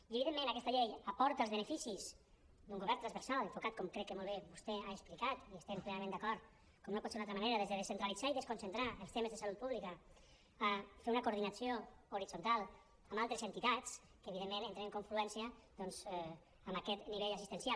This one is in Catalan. i evidentment aquesta llei aporta els beneficis d’un govern transversal enfocat com crec que molt bé vostè ha explicat i hi estem plenament d’acord com no pot ser d’una altra manera des de descentralitzar i desconcentrar els temes de salut pública a fer una coordinació horitzontal amb altres entitats que evidentment entren en confluència amb aquest nivell assistencial